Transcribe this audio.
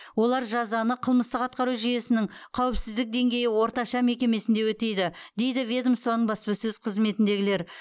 олар жазаны қылмыстық атқару жүйесінің қауіпсіздік деңгейі орташа мекемесінде өтейді дейді ведомствоның баспасөз қызметіндегілер